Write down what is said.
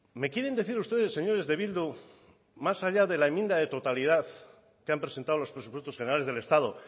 me quieren decir ustedes señores de bildu más allá de la enmienda de totalidad que han presentado los presupuestos generales del estado